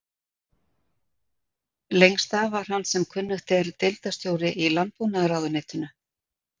Lengst af var hann sem kunnugt er deildarstjóri í landbúnaðarráðuneytinu.